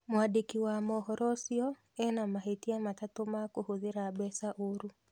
Mwandĩki wa mohoro ũcio ena mahĩtia matatũ ma kũhũthĩra mbeca ũru.